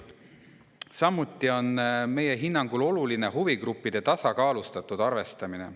Samuti on meie hinnangul oluline huvigruppide tasakaalustatud arvestamine.